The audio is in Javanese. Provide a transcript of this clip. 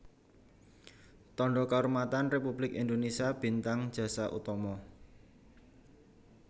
Tandha Kaurmatan Républik Indonésia Bintang Jasa Utama